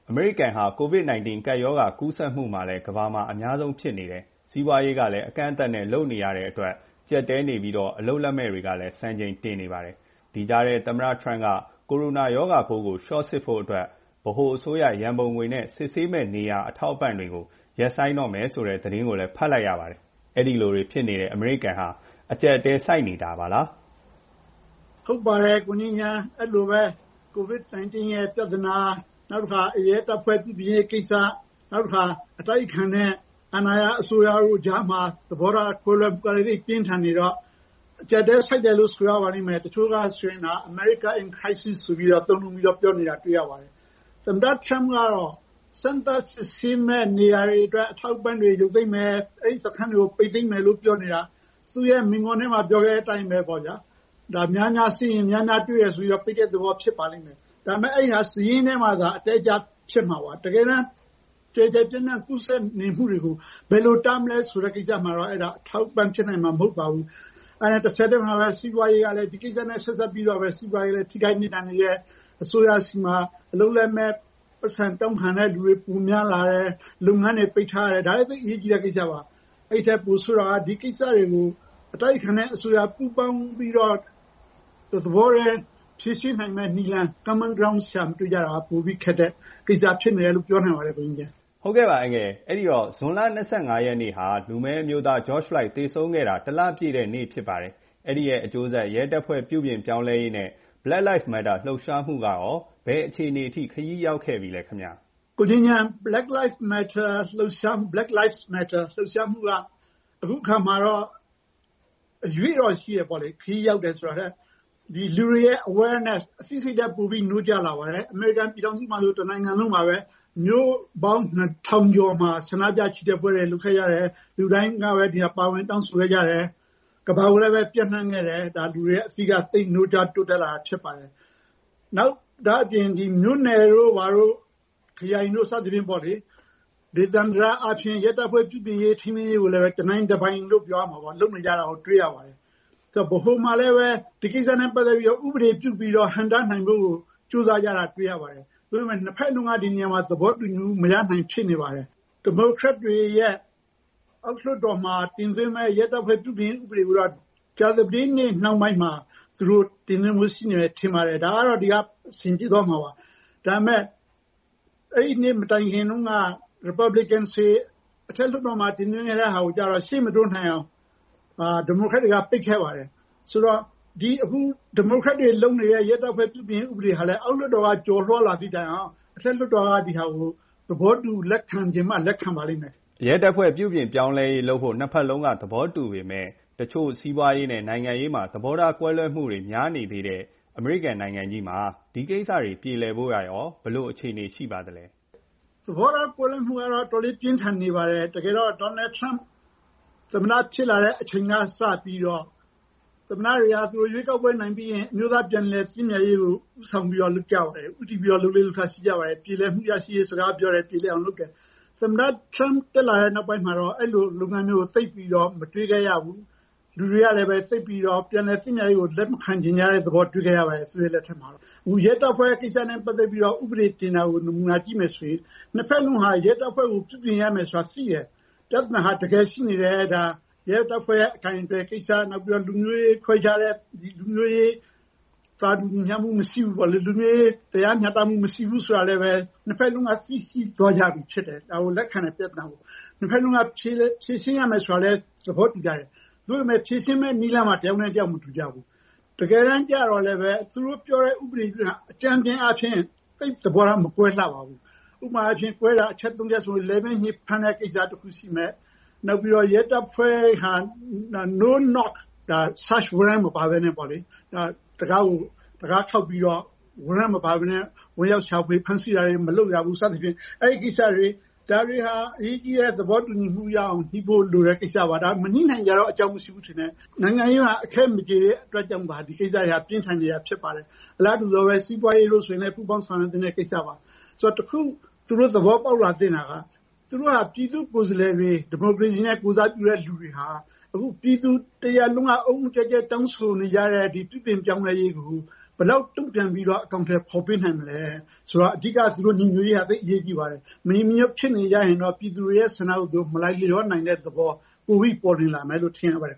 အမေရိကန်ဟာ COVID ကပ်ရောဂါကူးစက်မှုကလည်း ကမ္ဘာမှာ အများဆုံးဖြစ်နေတယ်။ စီးပွားရေး ကလည်း အကန့်အသတ်နဲ့ လုပ်နေရတဲ့အတွက် ကျပ်တည်းနေပြီးတော့ အလုပ်လက်မဲ့တွေကလည်း စံချိန်တင်နေပါတယ်။ ဒီကြားထဲ သမ္မတထရမ့်က ကိုရိုနာ ရောဂါပိုးကို လျှော့စစ်ဖို့အတွက် ဗဟိုအစိုးရ ရန်ပုံငွေ နဲ့ စစ်ဆေးမယ့်နေရာ အထောက်အပံ့တွေကို ရပ်ဆိုင်းတော့မယ်ဆိုတဲ့ သတင်းကိုလည်း ဖတ်လိုက်ရပါတယ်။ အဲ့ဒီလိုတွေဖြစ်နေတဲ့ အမေရိကန်ဟာ အကျပ်အတည်းဆိုက်နေတာလား။ ဟုတ်ပါတယ် ကိုငြိမ်းချမ်း COVID-19 ပြဿနာ ၊ ရဲတပ်ဖွဲ့ပြုပြင်ရေးကိစ္စ ၊ နောက်တခါ အတိုက်အခံနဲ့ အာဏာရ အစိုးရတို့ကြားမှာ သဘောထားကွဲလွဲမှုတွေ ပြင်းထန်နေတော့ အကျပ်အတည်း ဆိုက်တယ်လို့ ဆိုရပါမယ်။ တချို့က “America in Crisis” လို့ သုံးနှုန်းပြောနေတာ တွေ့ရပါတယ်။ သမ္မတထရမ့်ကတော့ စမ်းသပ်စစ်ဆေးမယ့် နေရာတွေအတွက် အထောက်အပံ့တွေကို ရုပ်သိမ်းမယ်၊ အဲဒီ စခန်းတွေကို ပိတ်သိမ်းမယ်လို့ ပြောနေတာ သူ့မိန့်ခွန်းထဲမှာ ပြောခဲ့တဲ့အတိုင်းပေါ့ဗျာများများစစ်ရင် များများတွေ့မယ် ဆိုတော့ ပိတ်တဲ့သဘော ဖြစ်ပါလိမ့်မယ်။ ဒါပေမယ့် အဲဒါ စာရင်းထဲမှာ အတက်အကျ ဖြစ်မှာပါ ၊ တကယ်တမ်း ကျယ်ကျယ်ပြန့်ပြန့် ကူးစက်နေမှုတွေကို ဘယ်လိုတားမလဲဆိုတာမှာတော့ အဲဒါ အထောက်အပံ့ဖြစ်မှာ မဟုတ်ပါဘူး။ ဒါနဲ့ ဆက်ပြီးတော့ စီးပွားရေးမှာလည်း ထိခိုက်နစ်နာနေတယ် အစိုးရဆီမှာ အလုပ်လက်မဲ့ ပိုက်ဆံတောင်းခံတဲ့လူတွေ ပိုများလာတယ် လုပ်ငန်းတွေ ပိတ်ထားတယ် ဒါက သိပ်အရေးကြီးတဲ့ ကိစ္စပါ။ အဲဒီထက် ပိုဆိုးတာက ဒီကိစ္စတွေကို အတိုက်အခံနဲ့အစိုးရ ပူးပေါင်းပြီးတော့ တသဘောတည်း ဖြေရှင်းနိုင်မယ့် နည်းလမ်း common ground ရှာမတွေ့တာက ပိုပြီးတော့ ခက်တဲ့ ကိစ္စဖြစ်မယ်လို့ ပြောနိုင်ပါတယ်။ နောက်ပြီး ဇွန်လ ၂၅ ရက်နေ့ မှာ လူမည်းအမျိုးသား George Floyd သေဆုံးခဲ့တာ ၁ လပြည့်ခဲ့ပါပြီ။ အဲ့ဒီရဲ့ အကျိုးဆက် ရဲတပ်ဖွဲ့ပြုပြင်ပြောင်းလဲရေး၊ နဲ့ Black Lives Matter လှုပ်ရှားမှုက ဘယ်အခြေအနေအထိ ခရီးရောက်ခဲ့ပြီလဲခင်ဗျ။ Black Lives Matter လှုပ်ရှားမှုက အခုအခါမှာတော့ ခရီးရောက်တယ်ဆိုတာထက် အရွေ့တော့ရှိတယ်ပေါ့လေ ဒီလူတွေရဲ့ awareness အသိစိတ်ဓါတ် ပိုပြီး နိုးကြားလာပါတယ်။ အမေရိကန်ပြည်ထောင်စုမှာဆို တနိုင်ငံလုံးမှာပါပဲ မြို့ပေါင်း ၂၀၀၀ ကျော်မှာ ဆန္ဒပြ ချီတက်ပွဲတွေ လုပ်ခဲ့တယ်၊ လူတိုင်း ဒါကို ပါဝင်တောင်းဆိုခဲ့တယ်၊ ကမ္ဘာကိုလည်း ပျံ့နှံ့ခဲ့တယ် ဒါက လူတွေ ရဲ့ အသိနိုးကြားလာတာဖြစ်ပါတယ်။ ဒါ့အပြင် မြို့နယ်တို့ ဘာတို့ ခရိုင်တို့ စသည်ဖြင့်ပေါ့လေ ဒေသန္တရ အားဖြင့် ရဲတပ်ဖွဲ့ ပြုပြင်ရေး၊ ထိန်းသိမ်းရေး ကိုလည်း တနိုင်တပိုင်လို့ ပြောရမှာပေါ့ လုပ်နေတာကို တွေ့ရပါတယ်။ ဆိုတော့ ဗဟိုမှာလည်း ဒီကိစ္စနဲ့ ပတ်သက်ပြီးတော့ ဥပဒေပြုပြီးတော့ ဟန့်တားနိုင်ဖို့ ကြိုးစားကြတာ တွေ့ရပါတယ်။ သို့ပေမယ့် ၂ ဖက်လုံးက ဒီနေရာမှာ သဘောတူမှု မရနိုင်တာကို တွေ့နေရပါတယ်။ ဒီမိုကရက်တွေရဲ့ အောက်လွှတ်တော်မှာ တင်သွင်းမယ့် ရဲတပ်ဖွဲ့ ပြုပြင်ပြောင်းလဲရေး ဥပဒေကိုတော့ ကြာသပတေးနေ့ နှောင်းပိုင်းမှာ တင်သွင်းဖို့ ရှိမယ်ထင်ပါတယ်။ ဒါပေမယ့် အဲဒီနေ့ မတိုင်ခင်တုန်းက Republican တွေ အထက်လွှတ်တော်မှာ တင်သွင်းခဲ့တာကိုတော့ အရှေ့မတိုးနိုင်အောင် ဒီမိုကရက်တွေက ပိတ်ခဲ့ပါတယ်။ ဆိုတော့ ဒီမိုကရက်တွေလုပ်နေတဲ့ ရဲတပ်ဖွဲ့ ပြုပြင်ပြောင်းလဲရေး ဥပဒေကလည်း အောက်လွှတ်တော်က ကျော်လွှားလာသည့်တိုင်အောင် အထက်လွှတ်တော်က ဒါကို သဘောတူ လက်ခံချင်မှ လက်ခံပါလိမ့်မယ်။ ရဲတပ်ဖွဲ့ ပြုပြင်ပြောင်းလဲရေး လုပ်ဖို့ နှစ်ဖက်စလုံး သဘောတူပေမယ့် တချို့ စီးပွားရေး၊ နိုင်ငံရေးမှာ သဘောထားကွဲလွဲမှုတွေ များနေတဲ့အမေရိကန် နိုင်ငံကြီးမှာ ဒီကိစ္စတွေ ပြေလည်ဖို့က ရော ဘယ်လို အခြေအနေရှိပါသလဲ။ သဘောထားကွဲလွဲမှုတွေကတော့ အတော်လေး ပြင်းထန်နေပါတယ်။ တကယ်တော့ Trump သမ္မတ ဖြစ်လာတဲ့အချိန်က စပြီးတော့ သမ္မတတွေဟာ ကိုယ်ရွေးကောက်ပွဲ နိုင်ပြီးရင် အမျိုးသား ပြန်လည်သင့်မြတ်ရေးကို ဦးဆောင်ပြီးလုပ်ကြတယ်၊ ဦးတည်ပြီးတော့ လုပ်လေ့လုပ်ထ ရှိပါတယ် ပြေလည်မှုရရှိရေး စကားပြောတယ်၊ ပြေလည်အောင်လုပ်တယ်။ သမ္မတ Trump တက်လာတဲ့ နောက်ပိုင်းမှာ အဲဒီလို လုပ်ငန်းမျိုးကို သိပ်ပြီးတော့ မတွေ့ခဲ့ရဘူး။ လူတွေကလည်း သိပ်ပြီးတော့ ပြန်လည်သင့်မြတ်ရေးကို လက်မခံချင်တဲ့ သဘောတွေ့ခဲ့ရပါတယ်။ အခု ရဲတပ်ဖွဲ့ ကိစ္စနဲ့ ပတ်သက်ပြီးတော့ ဥပဒေ တင်တာကို နမူနာကြည့်မယ်ဆိုရင် နှစ်ဖက်စလုံးက ရဲတပ်ဖွဲ့ ကို ပြုပြင်ပြောင်းလဲရမယ်ဆိုတာ သိတယ် ၊ ပြဿနာဟာ တကယ်ရှိနေတယ် ရဲတပ်ဖွဲ့ရဲ့ အကိုင်အတွယ်ကိစ္စ ၊ လူမျိုးရေး ခွဲခြားတာ သာတူညီမျှမူမရှိဘူးပေါ့လေ ၊ လူမျိုးရေးတရားမျှတမှု မရှိဘူးဆိုတာလည်း နှစ်ဖက်စလုံးက သိရှိသွားကြပြီဖြစ်တယ် ပြဿနာကို လက်ခံတယ်။ နှစ်ဖက်စလုံးက ဖြေရှင်းရမယ်ဆိုတာလည်း သဘောတူကြတယ်။ သို့ပေမယ့် ဖြေရှင်းမယ့် နည်းလမ်းမှာ တယောက်နဲ့ တယောက် သဘောမတူကြဘူး။ တကယ်တမ်းတော့ သူတို့ ပြောတဲ့ ဥပဒေက အကြမ်းဖျင်းအားဖြင့် သဘောထား မကွဲလှပါဘူး။ ဥပမာအားဖြင့် ကွဲတာ အချက် ၃ ချက်ဆိုရင် လည်ပင်းညစ် ဖမ်းတဲ့ ကိစ္စ တခုရှိမယ်၊ရဲတပ်ဖွဲ့က Search warrant မပါပဲနဲ့ တံခါးခေါက်ပြီးတော့ ဝင်ရောက်ရှာဖွေ ဖမ်းဆီးတာတွေ မလုပ်ရဘူး စသဖြင့် ။ အဲဒီကိစ္စတွေက အရေးကြီးတဲ့ သဘောတူညီမှု ရအောင် ညှိဖို့လိုတဲ့ ကိစ္စပါ။ မညှိနိုင်စရာတော့ အကြောင်းမရှိဘူးထင်တယ် နိုင်ငံရေးအခဲမကျေဖြစ်တော့ ဒီကိစ္စတွေက ပြင်းထန်နေတာဖြစ်ပါတယ်။ အလားတူ စီးပွားရေးဆိုရင်လည်း ပူးပေါင်းဆောင်ရွက်သင့်တဲ့ ကိစ္စပါ။ ဆိုတော့ တခု သူတို့ သဘောပေါက်လာသင့်တာက သူတို့ဟာ ပြည်သူ့ကိုယ်စားလှယ်တွေ ဒီမိုကရေစီနဲ့ ကိုယ်စားပြုတဲ့သူတွေဟာ အခု ပြည်သူတရပ်လုံးက အုတ်အုတ်ကျက်ကျက်တောင်းဆိုနေကြတဲ့ ဒီပြုပြင်ပြောင်းလဲရေးကို ဘယ်လောက် တုံ့ပြန်ပြီးတော့ အကောင်အထည်ဖော်နိုင်မလဲ ဆိုတော့ အဓိက သူတို့ ညီညွတ်ရေး သိပ်အရေးကြီးပါတယ်။ မညီမညွတ်ဖြစ်နေရင် ပြည်သူတွေရဲ့ ဆန္ဒကို မလိုက်လျောနိုင်တဲ့သဘော ပိုပြီးပေါ်လွင်လာမယ်လို့ ထင်ရပါတယ်